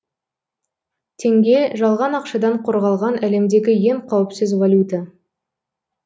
теңге жалған ақшадан қорғалған әлемдегі ең қауіпсіз валюта